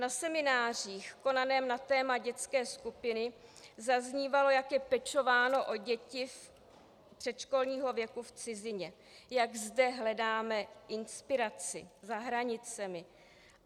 Na seminářích konaných na téma dětské skupiny zaznívalo, jak je pečováno o děti předškolního věku v cizině, jak zde hledáme inspiraci, za hranicemi.